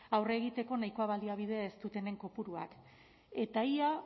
aurre egiteko nahiko baliabide ez dutenen kopuruak eta ia